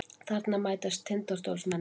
Þarna mætast Tindastólsmennirnir.